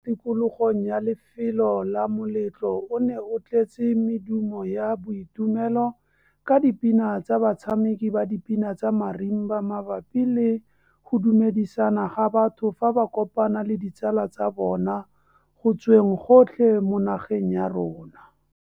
Tikologong ya lefelo la moletlo o ne o tletse medumo ya boitumelo ka dipina tsa batshameki ba dipina tsa marimba mabapi le go dumedisana ga batho fa ba kopana le ditsala tsa bona go tsweng gotlhe mo nageng ya rona.